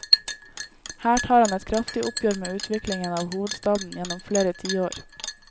Her tar han et kraftig oppgjør med utviklingen av hovedstaden gjennom flere tiår.